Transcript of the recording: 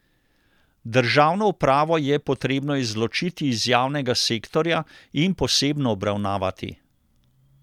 Državno upravo je potrebno izločiti iz javnega sektorja in posebno obravnavati.